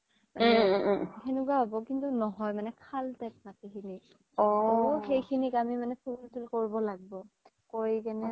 সেনেকুৱা হ্'ব কিন্তু নহয় মানে খাল type মাতি খিনি সেইখিনিৰ কাৰোনে fill তিল কৰব লাগব কৰি কিনে